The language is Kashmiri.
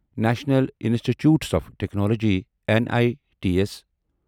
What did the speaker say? national institutes of technology N I T S